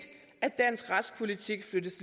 at dansk retspolitik flyttes